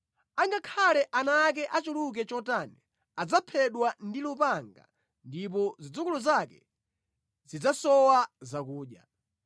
Angakhale ana ake achuluke chotani adzaphedwa ndi lupanga ndipo zidzukulu zake zidzasowa zakudya.